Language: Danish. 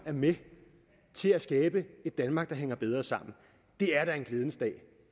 med til at skabe et danmark der hænger bedre sammen det er da en glædens dag